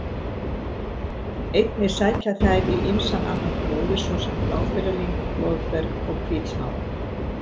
Einnig sækja þær í ýmsan annan gróður, svo sem bláberjalyng, blóðberg og hvítsmára.